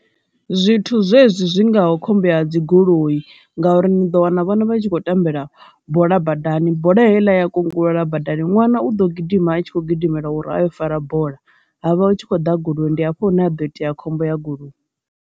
Zwithu zwezwi zwi ngaho khombo ya dzi goloi ngauri ni ḓo wana vhana vhatshi kho tambela bola badani, bola heiḽa ya kungela badani ṅwana u ḓo gidima a tshi khou gidimela uri a yo fara bola ha vha hu tshi khou ḓa goloi ndi hafho hune a do itea khombo ya goloi.